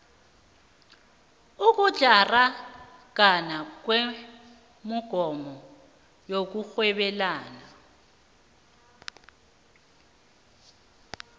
ukutlaragana kwemogomo yokurhwebelana